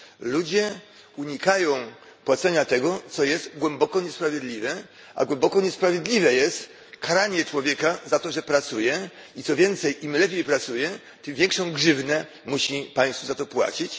Ludzie unikają płacenia tego, co jest głęboko niesprawiedliwe, a głęboko niesprawiedliwe jest karanie człowieka za to, że pracuje i, co więcej, im lepiej pracuje, tym większą grzywnę musi państwu za to płacić.